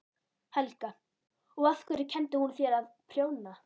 Helga: Og af hverju kenndi hún þér að prjóna?